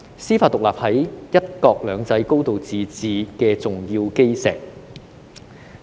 司法獨立是"一國兩制"和"高度自治"的重要基石。